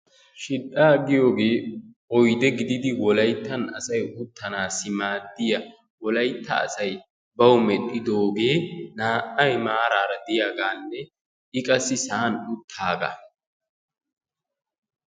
Shil"aa giyoogee oyidee gididi wolayittan asay uttanaassi maaddiya wolayitta asay bawu medhdhidoogee naa"ay maaraara diyagaanne I qassi sa'an uttaagaa.